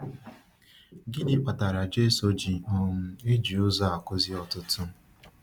Gịnị kpatara Jésù ji um eji ụzọ a akụzi ọtụtụ?